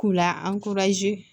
K'u la